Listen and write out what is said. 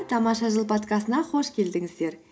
тамаша жыл подкастына қош келдіңіздер